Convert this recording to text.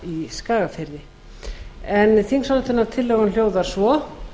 í skagafirði en þingsályktunartillagan hljóðar svo